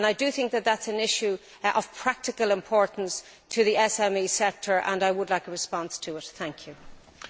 I do think this is an issue of practical importance to the SME sector and I would like a response on this matter.